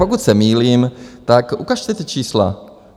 Pokud se mýlím, tak ukažte ta čísla.